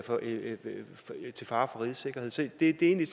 til fare for rigets sikkerhed så det er egentlig